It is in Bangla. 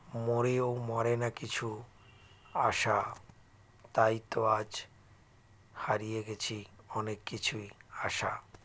মরেও মরেনা কিছু আশা তাইতো আজ হারিয়ে গেছি অনেক কিছুই আশা